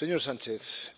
Señor presidente, señor Sánchez,